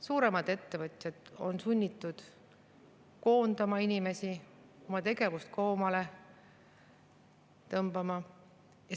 Suuremad ettevõtjad on sunnitud koondama inimesi, oma tegevust koomale tõmbama.